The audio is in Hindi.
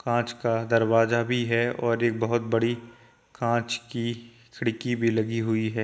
कांच का दरवाजा भी है और एक बोहत बड़ी कांच की खिड़की भी लगी हुई है।